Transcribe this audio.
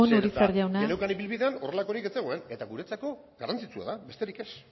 amaitzen joan urizar jauna zeren eta geneukan ibilbidean horrelakorik ez zegoen eta guretzako garrantzitsua da besterik ez